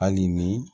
Hali ni